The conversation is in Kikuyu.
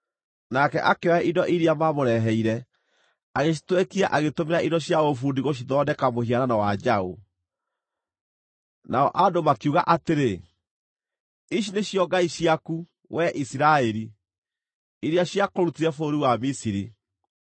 Nake akĩoya indo iria maamũreheire, agĩcitwekia agĩtũmĩra indo cia ũbundi gũcithondeka mũhianano wa njaũ. Nao andũ makiuga atĩrĩ, “Ici nĩcio ngai ciaku, wee Isiraeli, iria ciakũrutire bũrũri wa Misiri.”